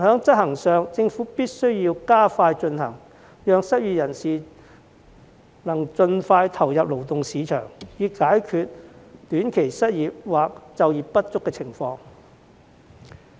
然而，政府必須加快推行，讓失業人士能盡快投入勞動市場，以解決短期失業或就業不足的情況。